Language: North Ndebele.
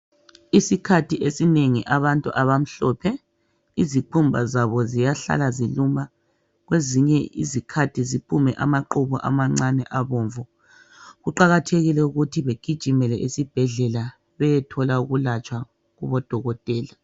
Isikhathi esinengi abantu abamhlophe izikhumba zabo ziyahlala ziluma kwezinye izikhathi ziphume amaqubu amancane abomvu kuqakathekile ukuthi begijimele ezibhedlela beyethola ukulatshwa kubo dokotela.